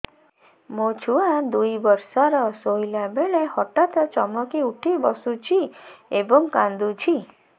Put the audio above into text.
ମୋ ଛୁଆ ଦୁଇ ବର୍ଷର ଶୋଇଲା ବେଳେ ହଠାତ୍ ଚମକି ଉଠି ବସୁଛି ଏବଂ କାଂଦୁଛି